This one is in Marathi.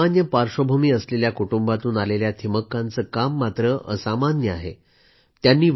अतिशय सामान्य पाश्र्वभूमी असलेल्या कुटुंबातून आलेल्या थिमक्कांचं काम मात्र असामान्य आहे